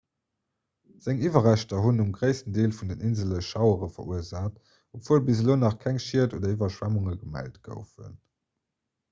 seng iwwerreschter hunn um gréissten deel vun den insele schauere verursaacht obwuel bis elo nach keng schied oder iwwerschwemmunge gemellt goufen